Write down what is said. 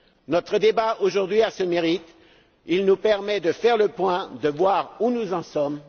Notre débat, aujourd'hui, a ce mérite il nous permet de faire le point, de voir où nous en sommes.